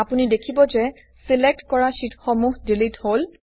আপুনি দেখিব যে ছিলেক্ট কৰা শ্বিটসমূহ ডিলিট হল